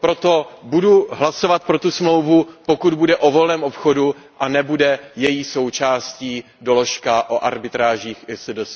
Proto budu hlasovat pro tu smlouvu, pokud bude o volném obchodu a nebude její součástí doložka o arbitrážích ISDS.